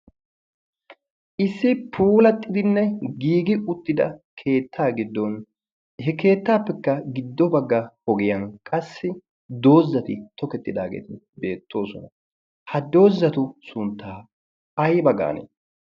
issi puulattidinne giigi uttida keettaa giddon he keettaappekka giddo bagga ogiyan qassi doozzati tokettidaageeta beettoosona ha doozzatu sunttaa ay bagan